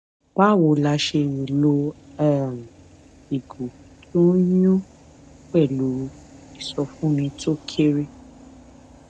báwo la ṣe lè lo um ìgò tó ń yùn pèlú ìsọfúnni tó kéré